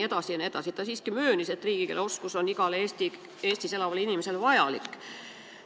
Ta siiski möönis, et riigikeele oskus on igale Eestis elavale inimesele vajalik.